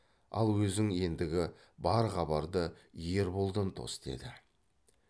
ал өзің ендігі бар хабарды ерболдан тос деді